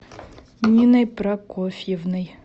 ниной прокофьевной